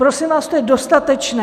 Prosím vás, to je dostatečné.